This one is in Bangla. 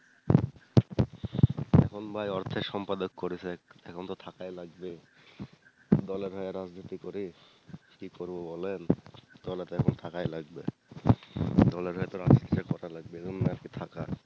এখন ভাই অর্থের সম্পাদক করেছে এখন তো থাকাই লাগবে, দলের হয়ে রাজনীতি করি কি করবো বলেন, দলে তো এখন থাকাই লাগবে দলের হয়ে তো রাজনীতিটা করা লাগবে এরম না যে থাকা।